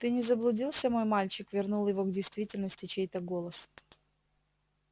ты не заблудился мой мальчик вернул его к действительности чей-то голос